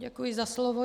Děkuji za slovo.